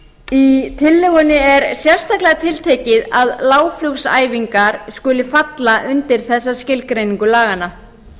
í tillögunni er sérstaklega tiltekið að lágflugsæfingar skuli falla undir þessa skilgreiningu laganna